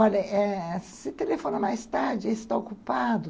Olha, se telefona mais tarde, ele está ocupado.